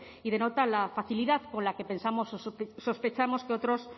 y denota la facilidad con la que pensamos o sospechamos que otros